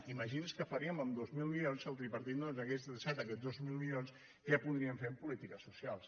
imagini’s què faríem amb dos mil milions si el tripartit no ens hagués deixat aquests dos mil milions què podríem fer en polítiques socials